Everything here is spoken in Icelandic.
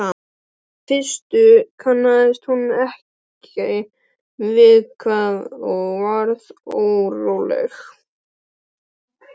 Í fyrstu kannaðist hún ekki við það og varð óróleg.